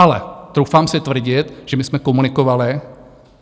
Ale troufám si tvrdit, že my jsme komunikovali.